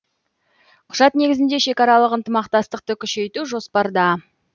құжат негізінде шекаралық ынтымақтастықты күшейту жоспарда